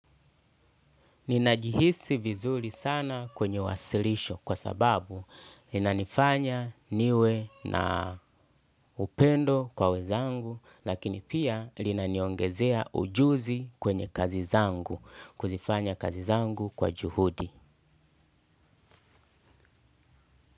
Ninajihisi vizuri sana kwenye wasilisho kwa sababu linanifanya niwe na upendo kwa wezangu lakini pia linaniongezea ujuzi kwenye kazi zangu kuzifanya kazi zangu kwa juhudi.